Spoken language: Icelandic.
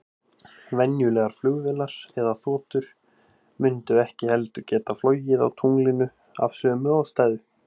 Venjulegar flugvélar eða þotur mundu ekki heldur geta flogið á tunglinu, af sömu ástæðu.